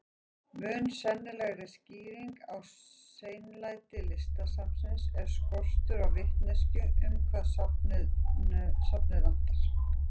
Mun sennilegri skýring á seinlæti Listasafnsins er skortur á vitneskju um hvað safnið vantar.